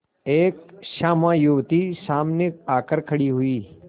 एक श्यामा युवती सामने आकर खड़ी हुई